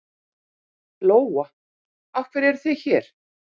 Lóa: Af hverju eruð þið hér?